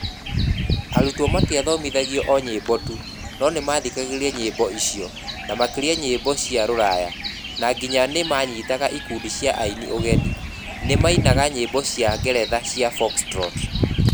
Atũmwo matiathomithagia o nyĩmbo tu, no nĩ mathikagĩrĩria nyĩmbo icio, na makĩria nyĩmbo cia rũraya, na nginya nĩ manyiitaga ikundi cia aini ũgeni, nĩ mainaga nyĩmbo cia ngeretha cia Foxtrot.